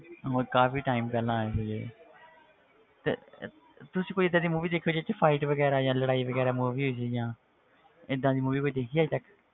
ਉਹ ਕਾਫ਼ੀ time ਪਹਿਲਾਂ ਆਏ ਸੀ ਤੇ ਤੁਸੀਂ ਕੋਈ ਏਦਾਂ ਦੀ movie ਦੇਖੀ ਹੋਈ ਜਿਹਦੇ 'ਚ fight ਵਗ਼ੈਰਾ ਜਾਂ ਲੜਾਈ ਵਗ਼ੈਰਾ movie 'ਚ ਜਾਂ ਏਦਾਂ ਦੀ movie ਕੋਈ ਦੇਖੀ ਹੈ ਅੱਜ ਤੱਕ,